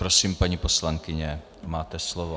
Prosím, paní poslankyně, máte slovo.